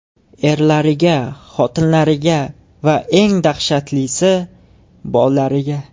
Erlariga, xotinlariga va, eng dahshatlisi, bolalariga.